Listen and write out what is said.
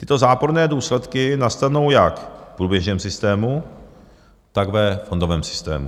Tyto záporné důsledky nastanou jak v průběžném systému, tak ve fondovém systému.